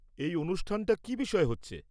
এই অনুষ্ঠানটা কী বিষয়ে হচ্ছে?